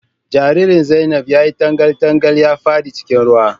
Jaririn Zainab ya yi tangal tangal ya fada cikin ruwa.